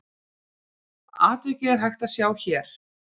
Atvikið er hægt að sjá hér.